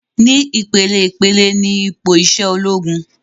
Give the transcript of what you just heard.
Ni ìpeleìpele ni ipò isẹ ológun